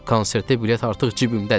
Konsertə bilet artıq cibimdədir.